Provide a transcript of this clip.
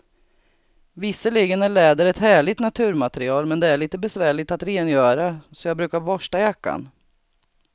Visserligen är läder ett härligt naturmaterial, men det är lite besvärligt att rengöra, så jag brukar borsta jackan.